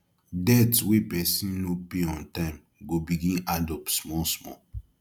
debt wey person no pay on time go begin add up small small